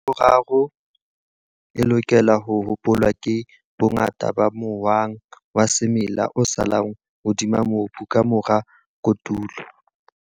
Ntlha ya boraro e lokelang ho hopolwa ke bongata ba mohwang wa semela o salang hodima mobu ka mora kotulo.